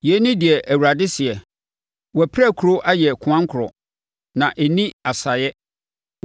“Yei ne deɛ Awurade seɛ: “ ‘Wo apirakuro ayɛ koankorɔ, na ɛnni asaeɛ.